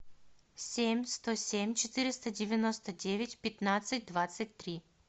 семь сто семь четыреста девяносто девять пятнадцать двадцать три